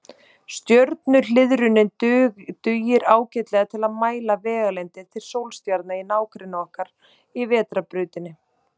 Stjörnuhliðrunin dugir ágætlega til að mæla vegalengdir til sólstjarna í nágrenni okkar í Vetrarbrautinni.